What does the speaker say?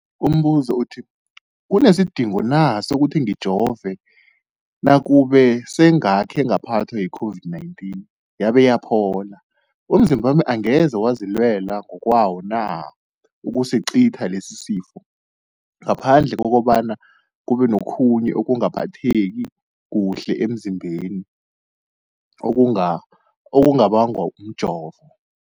Umbuzo, kunesidingo na sokuthi ngijove nakube sengakhe ngaphathwa yi-COVID-19 yabe yaphola? Umzimbami angeze wazilwela ngokwawo na ukucitha lesisifo, ngaphandle kobana kube nokhunye ukungaphatheki kuhle emzimbeni okubangwa mjovo?